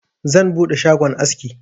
Zan buɗe shagon aski.